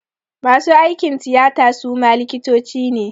Masu aikin tiyata suma likitoci ne